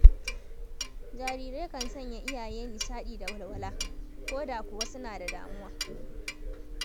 Jarirai kan sanya iyaye nishaɗi da walwala, ko da kuwa suna da damuwa.